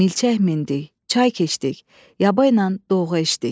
Milçək mindik, çay keçdik, yabaynan doğa işdik.